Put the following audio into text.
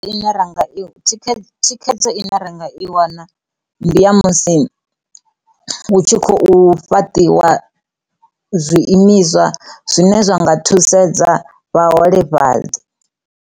Ine ra nga i, thikhedzo i ne renga i wana ndi ya musi hu tshi khou fhaṱiwa zwiimiswa zwine zwa nga thusedza vhaholefhali.